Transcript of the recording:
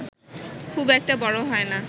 খুব একটা বড় হয়না